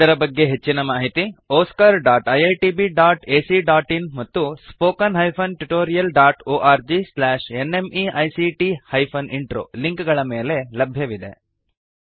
ಇದರ ಬಗ್ಗೆ ಹೆಚ್ಚಿನ ಮಾಹಿತಿ oscariitbacಇನ್ ಮತ್ತು spoken tutorialorgnmeict ಇಂಟ್ರೋ ಲಿಂಕ್ ಗಳ ಮೇಲೆ ಲಭ್ಯವಿದೆ